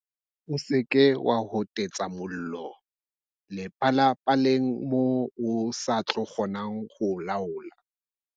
O seke wa hotetsa mollo le palapaleng moo o sa tlo kgona ho o laola.